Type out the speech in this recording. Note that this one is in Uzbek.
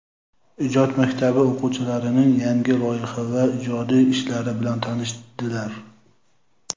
ijod maktabi o‘quvchilarining yangi loyiha va ijodiy ishlari bilan tanishdilar.